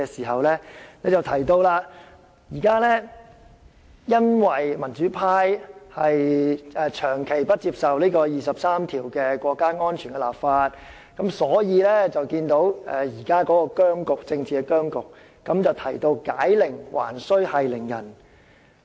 她提及現時因為民主派長期不接受就第二十三條涉及國家安全立法，所以出現現時的政治僵局，並提到解鈴還須繫鈴人。